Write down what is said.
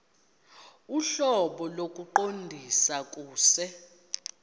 ohlobo lokuqondisa kuse